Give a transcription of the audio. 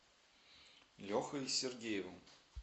лехой сергеевым